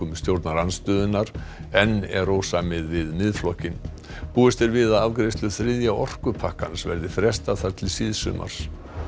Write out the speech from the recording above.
stjórnarandstöðunnar enn er ósamið við Miðflokkinn búist er við að afgreiðslu þriðja orkupakkans verði frestað þar til síðsumars